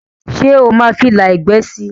ṣe oma fí ìlà ẹgbẹ sí?